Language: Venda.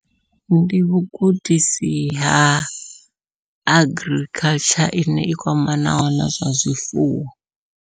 Ndi vhugudisi ha agriculture ine i kwamanaho nazwa zwifuwo.